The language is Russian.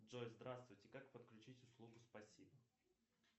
джой здравствуйте как подключить услугу спасибо